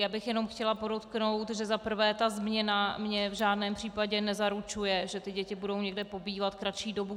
Já bych jenom chtěla podotknout, že za prvé ta změna mně v žádném případě nezaručuje, že ty děti budou někde pobývat kratší dobu.